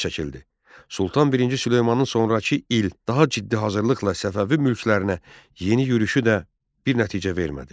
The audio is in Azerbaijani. Sultan I Süleymanın sonrakı il daha ciddi hazırlıqla Səfəvi mülklərinə yeni yürüşü də bir nəticə vermədi.